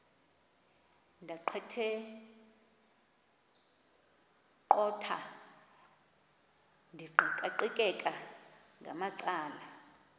ndaqetheqotha ndiqikaqikeka ngamacala